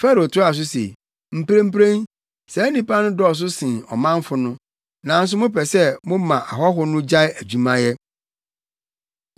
Farao toaa so se, “Mprempren, saa nnipa no dɔɔso sen ɔmanfo no, nanso mopɛ sɛ moma ahɔho no gyae adwumayɛ.”